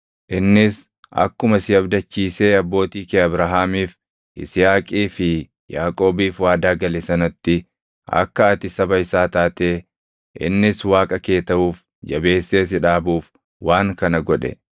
innis akkuma si abdachiisee abbootii kee Abrahaamiif, Yisihaaqii fi Yaaqoobiif waadaa gale sanatti akka ati saba isaa taatee innis Waaqa kee taʼuuf jabeessee si dhaabuuf waan kana godhe.